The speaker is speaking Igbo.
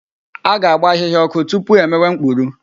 A ga-agba ahịhịa ọkụ tupu e mewe mkpuru.